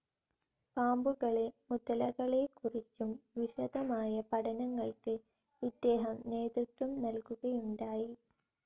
പാമ്ബുകളെ മുതലകളെക്കുറിച്ചും വിശദമായ പഠനങ്ങൾക് ഇദ്ദേഹം നേതൃത്വം നൽകുകയുണ്ടായി.